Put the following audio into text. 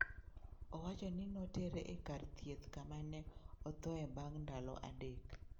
Owacho ni notere e kar thieth kama ne othoe bang' ndalo adek.